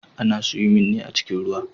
Ana siwimin ne a cikin ruwa.